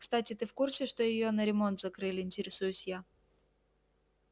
кстати ты в курсе что её на ремонт закрыли интересуюсь я